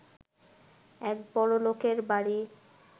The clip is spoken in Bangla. এক বড়লোকের বাড়ি